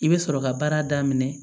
I bɛ sɔrɔ ka baara daminɛ